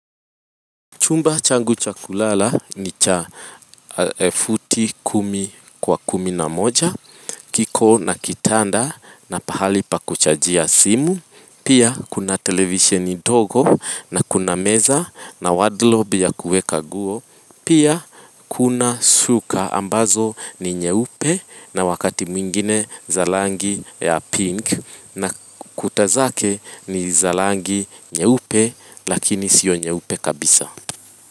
Chumba changu chakulala ni cha futi kumi kwa kumi na moja, kiko na kitanda na pahali pa kuchajia simu, pia kuna televisioni dogo na kuna meza na wardrobe ya kueka nguo, pia kuna suka ambazo ni nyeupe na wakati mwingine zalangi ya pink na kutazake ni zalangi nyeupe lakini sio nyeupe kabisa.